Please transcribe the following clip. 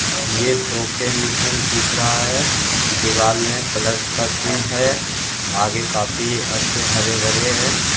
ये सोके मिशन दिख रहा है दिवार में प्लस का चिन्ह है आगे काफी अच्छे हरे - भरे है।